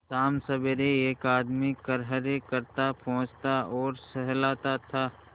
शामसबेरे एक आदमी खरहरे करता पोंछता और सहलाता था